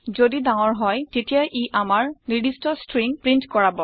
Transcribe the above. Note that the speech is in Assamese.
যদি ডাঙৰ হয় তেতিয়া ই আমাৰ নিৰ্দিস্ট ষ্ট্ৰিং প্ৰীন্ট কৰাব